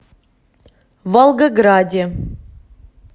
волгограде